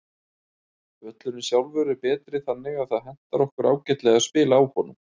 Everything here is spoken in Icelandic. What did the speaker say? Völlurinn sjálfur er betri þannig að það hentar okkur ágætlega að spila á honum.